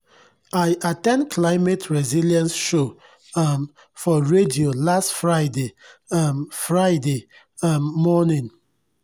i at ten d climate resilience show um for radio last friday um friday um morning.